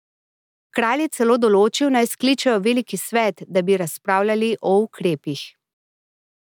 Kralj je celo določil, naj skličejo veliki svet, da bi razpravljali o ukrepih.